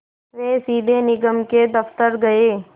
वे सीधे निगम के दफ़्तर गए